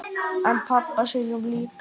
En pabba sínum líka.